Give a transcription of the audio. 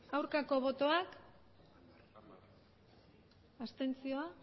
aurkako botoak abstentzioak